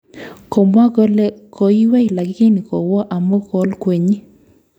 Komwa kole koiywei lakini kowo amu kolkwenyi